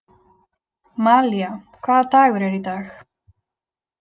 Malía, hvaða dagur er í dag?